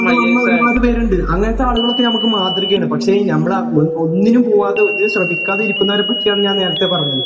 അങ്ങനെ ഒരുപാട് പേരുണ്ട് അങ്ങനത്തെ ആളുകളൊക്കെ നമ്മക്ക് മാതൃകയാണ് . പക്ഷേ ഞമ്മള് ഒന്നിനും പോകാതെ ഒന്നിനും ശ്രമിക്കാതെ ഇരിക്കുന്നവരെ പറ്റിയാണ് ഞാൻ നേരത്തെ പറഞ്ഞത്